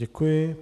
Děkuji.